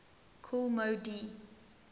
kool moe dee